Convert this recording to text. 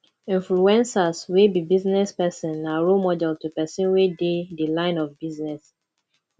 influencers wey be business persin na role model to persin wey de the line of business